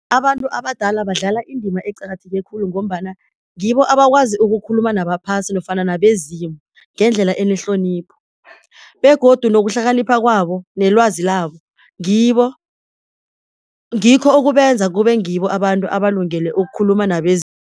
Abantu abadala badlala indima eqakatheke khulu, ngombana ngibo abakwazi ukukhuluma nabaphasi nofana nabezimu ngendlela enehlonipho, begodu nokuhlakanipha kwabo nelwazi labo ngibo, ngikho okubenza kube ngibo abantu abalungele ukukhuluma